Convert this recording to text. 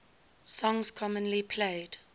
songs commonly played